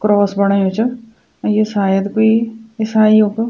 क्रॉस बणायु च और यी शायद कुई इसाईयों कु --